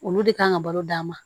Olu de kan ka balo dan ma